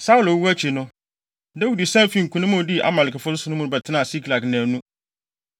Saulo wu akyi no, Dawid san fii nkonim a odii Amalekfo so no mu bɛtenaa Siklag nnaanu.